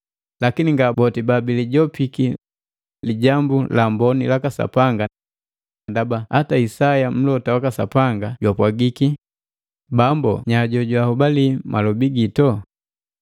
Lakini nga boti babilijopiki Lijambu la Amboni laka Sapanga ndaba hata Isaya mlota waka Sapanga jwapwagiki, “Bambu nya jojwahobali malobi gito?”